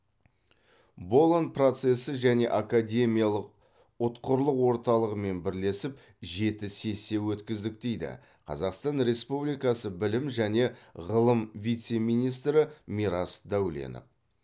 болон процесі және академиялық ұтқырлық орталығымен бірлесіп жеті сессия өткіздік дейді қазақстан республикасы білім және ғылым вице министрі мирас дәуленов